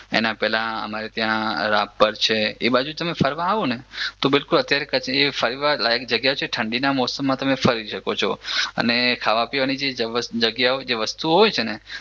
એના પેલા અમારે ત્યાં રાપર છે એ બાજુ તમે ફરવા આવોને તો બિલકુલ અત્યારે ફરવા લાયક જગ્યા છે ઠંડીના મોસમમાં તમે ફરી શકો છો અને ખાવા પીવાની જે જગ્યાઓ જે વસ્તુઓ હોય છે ને